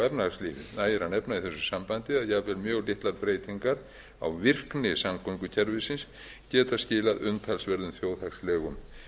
efnahagslífið nægir að nefna í þessu sambandi að jafnvel mjög litlar breytingar á virkni samgöngukerfisins geta skilað umtalsverðum þjóðhagslegum